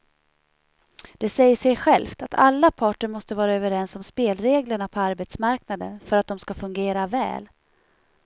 Det säger sig självt att alla parter måste vara överens om spelreglerna på arbetsmarknaden för att de ska fungera väl.